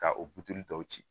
Ka o tɔw ci